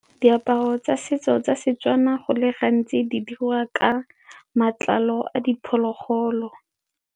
Diaparo tsa setso tsa Setswana go le gantsi di diriwa ka matlalo a diphologolo.